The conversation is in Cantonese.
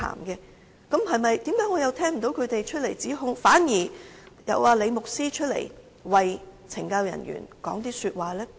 然而，為何我又聽不到他們出來指控，反而看到李牧師走出來為懲教人員說話呢？